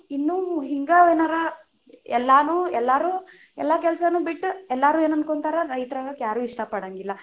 ಇನ್ನು ಹಿಂಗ ಏನರ, ಎಲ್ಲಾನು ಎಲ್ಲಾರು ಎಲ್ಲಾ ಕೆಲಸಾನು ಬಿಟ್ಟು ಎಲ್ಲಾರು ಏನ ಅನ್ಕೊಂತಾರ ರೈತರ ಆಗಾಕ ಇಷ್ಟ ಪಡಂಗಿಲ್ಲಾ.